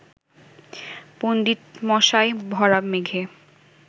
পণ্ডিতমশাই ভরা মেঘে